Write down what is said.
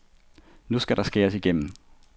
Nu skal der skæres igennem.